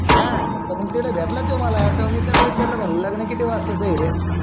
हां तर मग तिकडे भेटला तो मला तेव्हा मी त्याला विचारल लग्न किती वस्ताच आहे रे